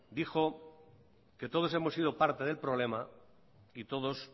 dijo que todos hemos sido parte del problema y todos